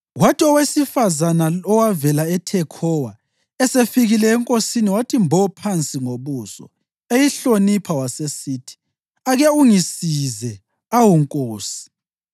Kwathi owesifazane owavela eThekhowa esefikile enkosini wathi mbo phansi ngobuso eyihlonipha, wasesithi, “Ake ungisize, awu nkosi!”